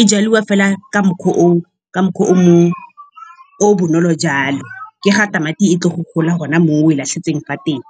E jadiwa fela ka mokgwa o o bonolo jalo, ke ga tamati e tlo go gola gona mo oe latlhetseng fa teng.